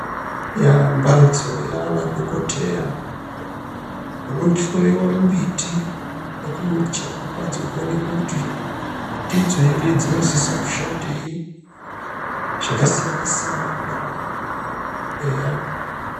Yaa mbatso yaana dhokoteya unohloiwa mumbiti nekuuchekwa kwadzo kuti ndidzo ere dzinosise kushandei zvakasiyana siyana kudarokwo eya.